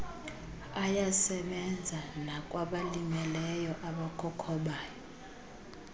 ayasebenza nakwabalimeleyo abakhokhobayo